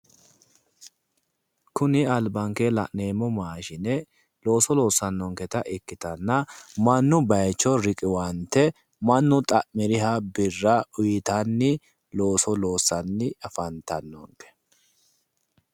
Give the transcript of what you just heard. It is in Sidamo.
Kuni albankeenni la'neemmo maashine looso loossannonketa ikkitanna mannu baayicho riqiwante mannu xa'miriha birra uuyitanni looso loossanni afantanno.